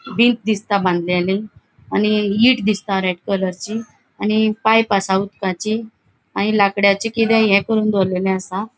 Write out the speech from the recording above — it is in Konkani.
दिसता बांधलेली आणि ईट दिसता रेड कलर ची आणि पाइप आसा उदकाची आणि लाकडांची किते ये करून दोरलेले आसा.